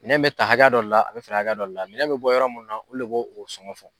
Minɛn bɛ ta hakɛya dɔ le la a bɛ feere hakɛya dɔ le la minɛn bɛ bɔ yɔrɔ min na olu le bo o sɔngɔn fɔ.